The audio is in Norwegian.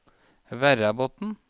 Verrabotn